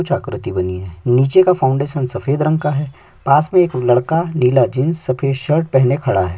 कुछ आकृति बनी है नीचे का फाउंडेशन सफेद रंग का है पास में एक लड़का नीला जींस सफेद शर्ट पेहने खड़ा हैं।